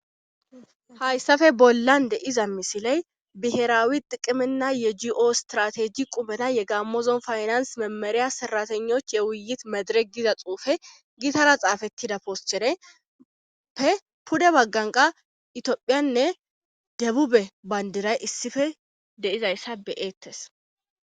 hayssafe bollan deiza misiley biherawi qiqimenna yegio strateji qubena yegammozon faynans memeriya heratenoch yewuyit medireg diza xuufe gitara xaafettida pooschereppe pude bagganqa itophiyanne debube bayndiray issife deizayssa beyeettes